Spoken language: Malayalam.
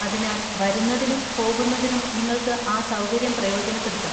അതിനാൽ വരുന്നതിനും പോകുന്നതിനും നിങ്ങൾക്ക് ആ സൗകര്യം പ്രയോജനപ്പെടുത്താം.